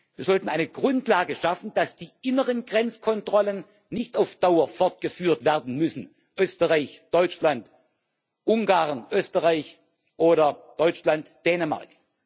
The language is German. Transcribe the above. Wir sollten eine Grundlage dafür schaffen, dass die inneren Grenzkontrollen nicht auf Dauer fortgeführt werden müssen Österreich Deutschland, Ungarn Österreich oder Deutschland Dänemark.